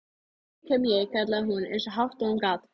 Nú kem ég, kallaði hún eins hátt og hún gat.